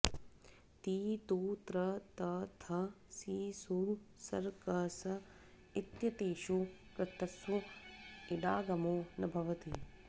ति तु त्र त थ सि सु सर क स इत्येतेषु कृत्सु इडागमो न भवति